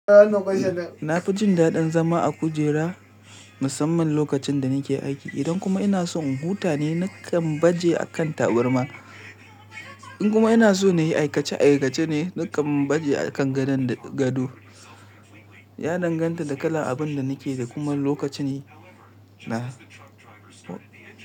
Na fi jin daɗin zama a kujera musamman lokacin da nake aiki. Idan kuma ina so in huta ne, nakan baje a kan taburma. In kuma ina so na yi aikace-aikace ne, nakan baje a kan gadon gado. Ya danganta da kalan abin da nake da kuma lokaci ne na.